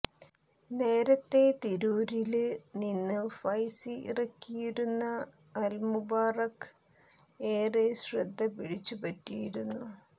നേരത്തെ തിരൂരില് നിന്ന് ഫൈസി ഇറക്കിയിരുന്ന അല്മുബാറക് ഏറെ ശ്രദ്ധ പിടിച്ചു പറ്റിയിരുന്നു